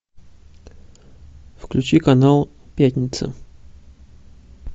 включи канал пятница